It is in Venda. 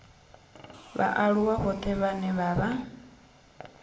vhaaluwa vhoṱhe vhane vha vha